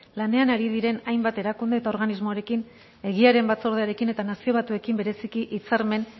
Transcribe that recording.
lanean ari diren hainbat erakunde eta organismoarekin egiaren batzordearekin eta nazio batuekin bereziki hitzarmen